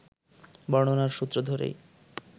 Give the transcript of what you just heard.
বর্ণনার সূত্র ধরেই